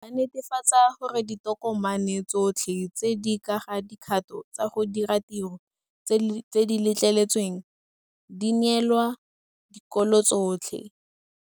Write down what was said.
Ba netefatsa gore ditokomane tsotlhe tse di ka ga dikgato tsa go dira tiro tse di letleletsweng di neelwa dikolo tsotlhe.